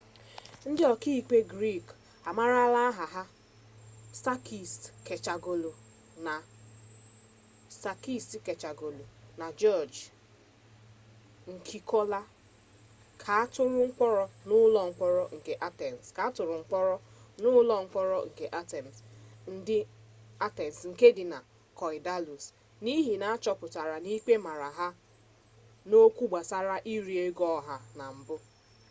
ndị ọka ikpe grik amaara aha ha sakis kechagioglou na jiọj nikolakopoulos ka atụrụ mkpọrọ n'ụlọ mkpọrọ nke atens nke dị na korydallus n'ihi na achọpụtara na ikpe mara ha n'okwụ gbasara iri ego oha na mpu